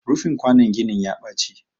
rufin kwanon ginin ya Baci